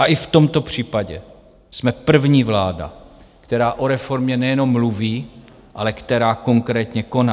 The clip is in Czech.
A i v tomto případě jsme první vláda, která o reformě nejenom mluví, ale která konkrétně koná.